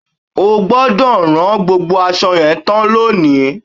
O gbọ́dọ̀ rán gbogbo aṣọ yẹn tán lónìí!